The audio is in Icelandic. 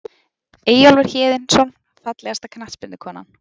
Eyjólfur Héðinsson Fallegasta knattspyrnukonan?